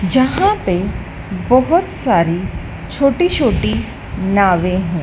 जहां पे बहोत सारी छोटी छोटी नावे हैं।